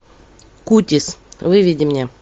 кутис выведи мне